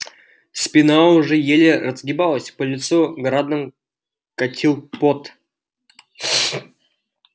спина уже еле разгибалась по лицу градом катил пот